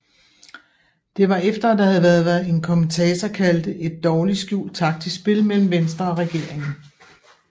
Det var efter at der havde været hvad en kommentator kaldte et dårligt skjult taktisk spil mellem Venstre og regeringen